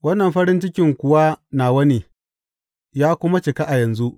Wannan farin cikin kuwa nawa ne, ya kuma cika a yanzu.